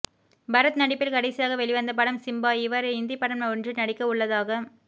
பரத் நடிப்பில் கடைசியாக வெளிவந்த படம் சிம்பா இவர் இந்தி படம் ஒன்றில் நடிக்க உள்ளதாக